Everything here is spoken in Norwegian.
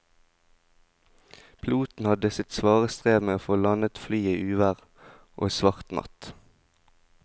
Piloten hadde sitt svare strev med å få landet flyet i uvær og svart natt.